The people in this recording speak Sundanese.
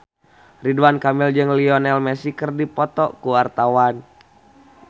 Ridwan Kamil jeung Lionel Messi keur dipoto ku wartawan